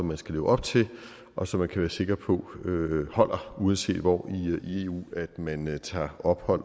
man skal leve op til og som man kan være sikker på holder uanset hvor i eu man man tager ophold